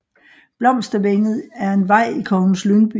Blomstervænget er en vej i Kongens Lyngby